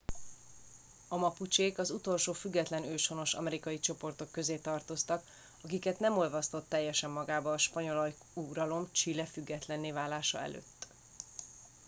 a mapucsék az utolsó független őshonos amerikai csoportok közé tartoztak akiket nem olvasztott teljesen magába a spanyol ajkú uralom chile függetlenné válása előtt